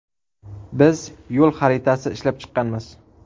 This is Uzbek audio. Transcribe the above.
Biz ‘yo‘l xaritasi’ ishlab chiqqanmiz.